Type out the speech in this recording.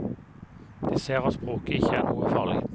De ser at språket ikke er noe farlig.